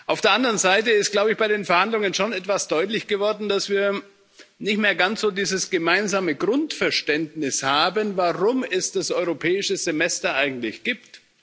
Auf der anderen Seite ist, glaube ich, bei den Verhandlungen schon etwas deutlich geworden, dass wir nicht mehr ganz so dieses gemeinsame Grundverständnis haben, warum es das Europäische Semester eigentlich gibt.